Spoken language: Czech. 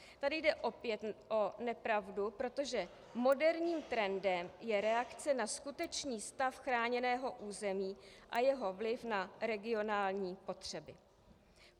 Tady jde opět o nepravdu, protože moderním trendem je reakce na skutečný stav chráněného území a jeho vliv na regionální potřeby.